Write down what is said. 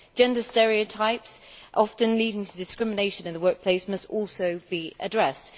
Gender stereotypes, often leading to discrimination in the workplace, must also be addressed.